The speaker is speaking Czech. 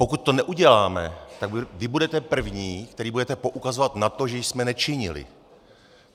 Pokud to neuděláme, tak vy budete první, kteří budete poukazovat na to, že jsme nečinili.